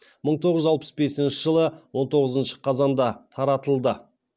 мың тоғыз жүз алпыс бесінші жылы он тоғызыншы қазанда таратылды